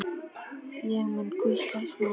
Ég mun hvílast nóg.